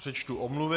Přečtu omluvy.